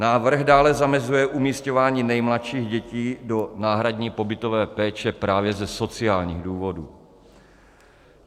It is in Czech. Návrh dále zamezuje umísťování nejmladších dětí do náhradní pobytové péče právě ze sociálních důvodů.